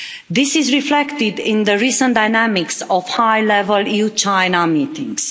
This is reflected in the recent dynamics of high-level EU China meetings.